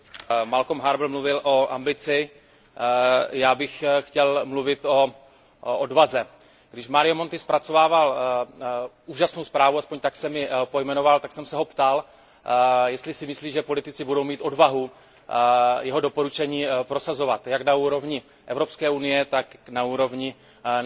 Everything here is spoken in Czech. Malcolm Harbour mluvil o ambici, já bych chtěl mluvit o odvaze. Když Mario Monti zpracovával úžasnou zprávu, alespoň tak jsem ji pojmenoval, tak jsem se ho ptal, jestli si myslí, že politici budou mít odvahu jeho doporučení prosazovat jak na úrovni Evropské unie, tak na úrovni členských